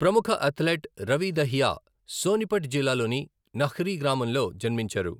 ప్రముఖ అథ్లెట్ రవి దహియా సోనిపట్ జిల్లాలోని నహ్రీ గ్రామంలో జన్మించారు.